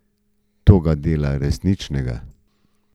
To ga dela resničnega.